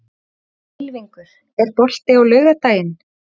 Ylfingur, er bolti á laugardaginn?